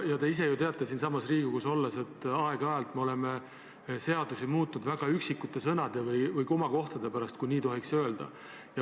Te ise ju teate siinsamas Riigikogus olles, et aeg-ajalt me oleme seadusi muutnud üksikute sõnade või komakohtade pärast, kui nii tohiks öelda.